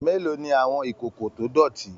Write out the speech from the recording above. Mélòó ní àwọn ìkókó to dọ̀tí?